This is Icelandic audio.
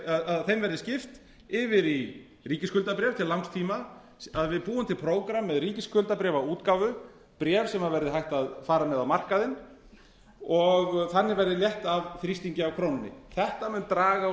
að þeim verði skipt yfir í ríkisskuldabréf til langs tíma að við búum til prógramm með ríkisskuldabréfaútgáfu bréf sem verði hægt að fara með á markaðinn og þannig verði létt af þrýstingi af krónunni þetta mun draga úr